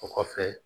O kɔfɛ